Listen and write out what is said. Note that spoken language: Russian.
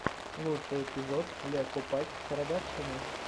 лучший эпизод ле копакь продакшена